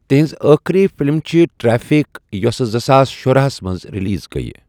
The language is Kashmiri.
تہنٛز آخری فلم چھِ 'ٹریفک' یوٚس زٕساس شُراہ ہَس منٛز ریلیز گیۍ۔